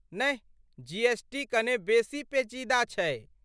नहि जीएसटी कने बेसी पेचीदा छै।